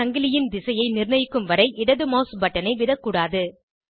சங்கிலியின் திசையை நிர்ணயிக்கும் வரை இடது மவுஸ் பட்டனை விடக்கூடாது